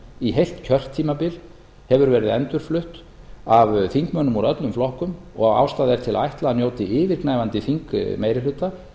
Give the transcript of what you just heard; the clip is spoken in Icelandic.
í heilt kjörtímabil hefur verið endurflutt af þingmönnum úr öllum flokkum og ástæða er til að ætla að njóti yfirgnæfandi þingmeirihluta eða að